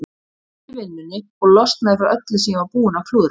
Ég héldi vinnunni og losnaði frá öllu sem ég var búinn að klúðra.